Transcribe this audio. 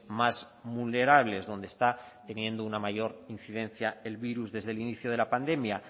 más vulnerables donde está teniendo una mayor incidencia el virus desde el inicio de la pandemia